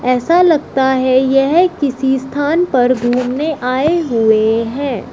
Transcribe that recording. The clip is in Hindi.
ऐसा लगता है यह किसी स्थान पर घूमने आए हुए हैं।